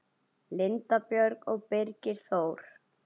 Linda Björg og Birgir Þór.